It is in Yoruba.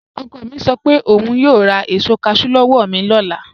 Ọkọ̀ mi sọ pé ọún yòò rá èṣò cashew lọ́wọ́ mi ni ọlá